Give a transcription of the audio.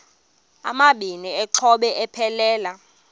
amabini exhobe aphelela